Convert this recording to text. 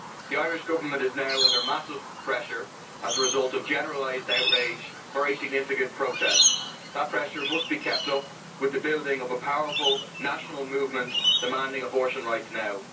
The Irish Government is now under massive pressure as a result of generalised outrage and very significant protests. That pressure must be kept up with the building of a powerful, national movement demanding abortion rights now.